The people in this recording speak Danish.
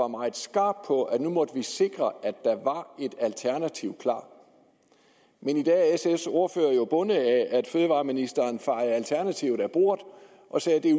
meget skarp på at vi måtte sikre at der var et alternativ klar men i dag er sfs ordfører jo bundet af at fødevareministeren fejede alternativet af bordet og sagde at det